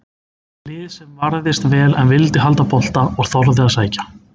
Lið sem varðist vel en vildi halda bolta og þorði að sækja.